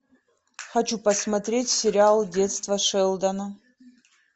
хочу посмотреть сериал детство шелдона